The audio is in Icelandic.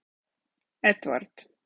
Edvard